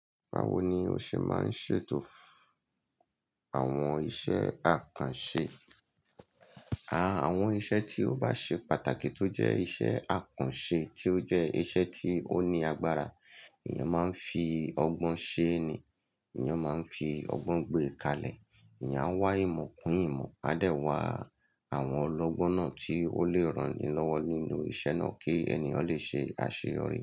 Bawo ni o ṣe máa ń ṣètò àwọn iṣẹ́ àkànṣe? À, àwọn iṣẹ́ tí ó bá ṣe pàtàkì tó jẹ́ iṣẹ́ àkànṣe tí ó jẹ́ iṣẹ́ tí ó ní agbára, èèyàn máa ń fi ọgbọ́n ṣe ni, èèyàn máa ń fi ọgbọ́n gbé kalẹ̀. Èèyàn wá ìmọ̀ kún ìmọ̀, a dẹ̀ wa àwọn ọlọ́gbọ́n náà tí ó le ran ni lọ́wọ́ nínú iṣẹ́ náà kí ènìyàn lè ṣe àṣeyọrí.